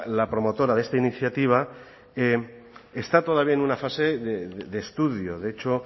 la promotora de esta iniciativa está todavía en una fase de estudio de hecho